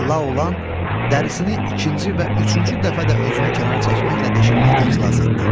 Və Laolan dərisini ikinci və üçüncü dəfə də özünü kənara çəkməklə deşilməkdən xilas etdi.